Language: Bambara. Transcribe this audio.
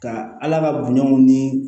Ka ala ka bonyaw ni